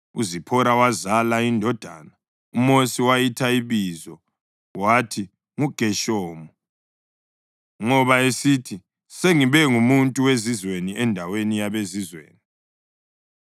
UZiphora wazala indodana, uMosi wayitha ibizo wathi nguGeshomu ngoba esithi, “Sengibe ngumuntu wezizweni endaweni yabezizweni.”